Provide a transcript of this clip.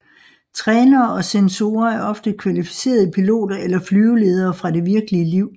Trænere og censorer er ofte kvalificerede piloter eller flyveledere fra det virkelige liv